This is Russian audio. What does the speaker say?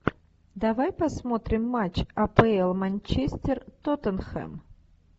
давай посмотрим матч апл манчестер тоттенхэм